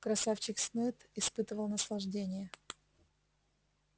красавчик смит испытывал наслаждение